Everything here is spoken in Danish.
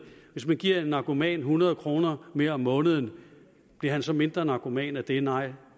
hvis man giver en narkoman hundrede kroner mere om måneden bliver han så mindre narkoman af det nej